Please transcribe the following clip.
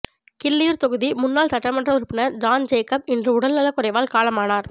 கிள்ளியூர் தொகுதி முன்னாள் சட்டமன்ற உறுப்பினர் ஜான் ஜேக்கப் இன்று உடல் நலக்குறைவால் காலமானார்